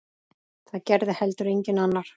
Það gerði heldur enginn annar.